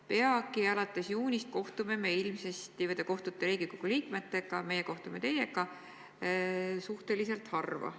Peagi, alates juunist, te ilmselt kohtute Riigikogu liikmetega ehk meie kohtume teiega suhteliselt harva.